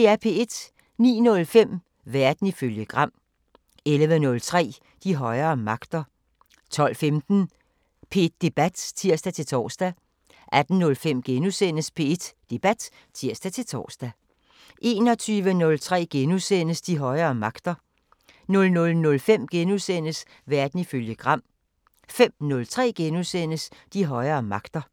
09:05: Verden ifølge Gram 11:03: De højere magter 12:15: P1 Debat (tir-tor) 18:05: P1 Debat *(tir-tor) 21:03: De højere magter * 00:05: Verden ifølge Gram * 05:03: De højere magter *